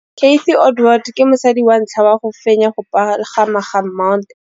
Cathy Odowd ke mosadi wa ntlha wa go fenya go pagama ga Mt Everest.